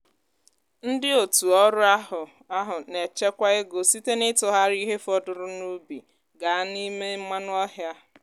ndị otu ọrụ ahụ ahụ na-echekwa ego site n'ịtụgharị ihe fọdụrụ n'ubi gaa n'ime mmanụ ọhịa